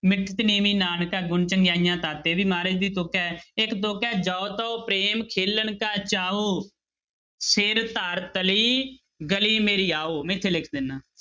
ਮਿਠਤੁ ਨੀਵੀ ਨਾਨਕਾ ਗੁਣ ਚੰਗਿਆਈਆ ਤਤੁ ਇਹ ਵੀ ਮਹਾਰਾਜ ਦੀ ਤੁੱਕ ਹੈ ਇੱਕ ਤੁੱਕ ਹੈ ਜਉ ਤਉ ਪ੍ਰੇਮ ਖੇਲਣ ਕਾ ਚਾਉ, ਸਿਰੁ ਧਰਿ ਤਲੀ ਗਲੀ ਮੇਰੀ ਆਉ, ਮੈਂ ਇੱਥੇ ਲਿਖ ਦਿਨਾ।